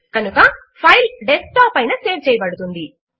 కనుక file desktop పైన save చేయబడుతుంది